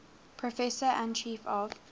professor and chief of